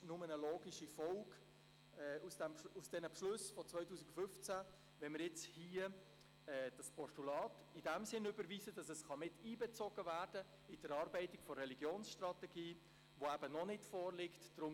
Es ist nur eine logische Folge der Beschlüsse von 2015, das Postulat in diesem Sinn zu überweisen, dass es in die Erarbeitung der Religionsstrategie miteinbezogen werden kann.